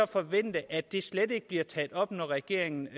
forvente at det slet ikke bliver taget op når regeringen